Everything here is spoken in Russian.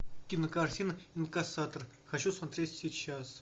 кинокартина инкассатор хочу смотреть сейчас